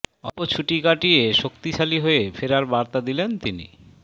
অল্প ছুটি কাটিয়ে শক্তিশালী হয়ে ফেরার বার্তা দিলেন তিনি